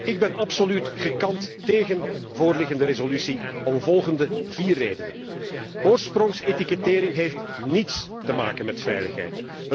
Ik ben absoluut gekant tegen voorliggende resolutie om de volgende vier redenen oorsprongsetikettering heeft niets te maken met veiligheid.